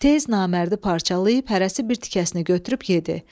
Tez namərdi parçalayıb hərəsi bir tikəsini götürüb yedi.